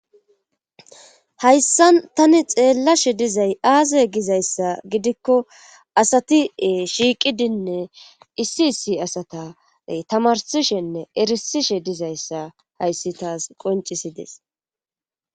Hayssan tani xeellashe dizay aaze gizayssa gidikko asatie shiiqidinne issi issi asatay tamarsishenne erisishe dizayssa hayssi taas qoncisides.